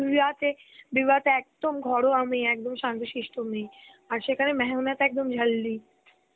Hindi তে, Hindi তে একদম ঘরোয়া মেয়ে, একদম শান্ত সিষ্ট মেয়ে. আর সেখানে মেহনাত একদম Hindi .